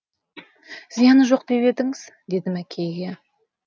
зияны жоқ деп едіңіз дедім әкейге